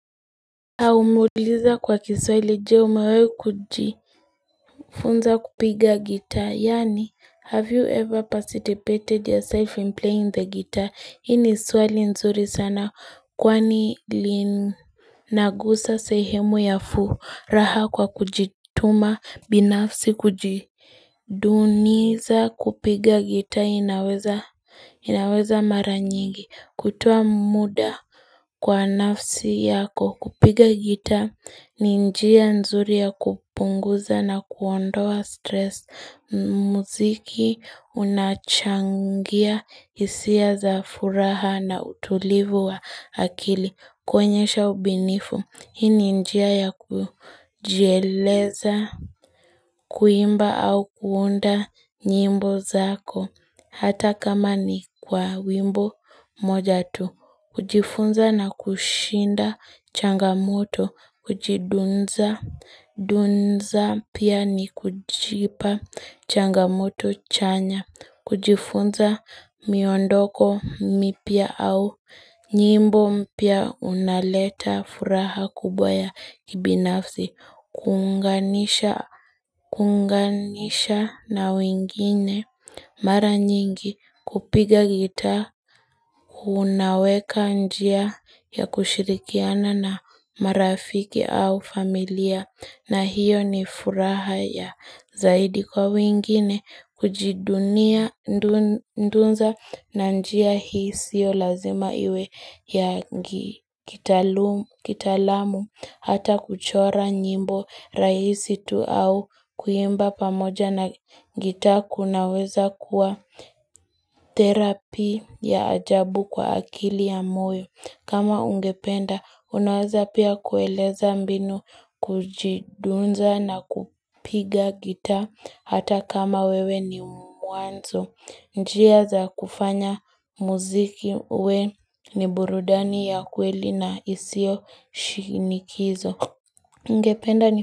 Umeuliza kwa kiswahili, Je umewahi kujifunza kupiga gita yaani 'Have you ever participated yourself in playing the guitar? ' Hii ni swali nzuri sana kwani linagusa sehemu ya furaha kwa kujituma binafsi, kujiduniza kupiga gita inaweza inaweza mara nyingi kutoa muda Kwa nafsi yako kupiga gita ni njia nzuri ya kupunguza na kuondoa stress muziki unachangia hisia za furaha na utulivu wa akili kuonyesha ubunifu. Hii ni njia ya kujieleza, kuimba au kuunda nyimbo zako. Hata kama ni kwa wimbo mmoja tu. Kujifunza na kushinda changamoto. Kujidunza, dunza pia ni kujipa changamoto chanya. Kujifunza miondoko mipya au. Nyimbo mpya unaleta furaha kubwa ya kibinafzi, kuunganisha, kuunganisha na wengine mara nyingi kupiga gita, unaweka njia ya kushirikiana na marafiki au familia. Na hiyo ni furaha ya zaidi kwa wengine kujidunia dunza na njia hii sio lazima iwe ya kitaalamu hata kuchora nyimbo rahisi tu au kuimba pamoja na gita kunaweza kuwa therapy ya ajabu kwa akili ya moyo. Kama ungependa unaweza pia kueleza mbinu kujidunza na kupiga gita hata kama wewe ni mwanzo. Njia za kufanya muziki uwe ni burudani ya kweli na isio shinikizo. Nigependa ni.